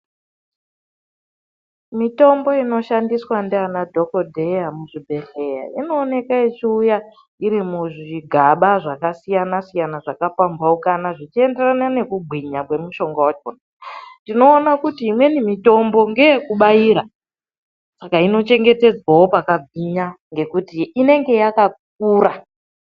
Mitombo inoshandiswa nana dhokodheya muzvibhedhlera, inoonekwa ichiuya iri muzvigaba zvakasiyana siyana zvakapambaukana zvichienderana nekugwinya kwemushonga wacho. Tinoona kuti imweni mitombo ndeyekubaira, saka inochengetedzwawo pakagwinya nekuti inenge yakakura.